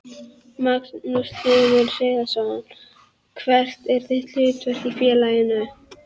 Magnús Hlynur Hreiðarsson: Hvert er þitt hlutverk í félaginu?